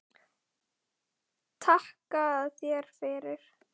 Takka þér fyrir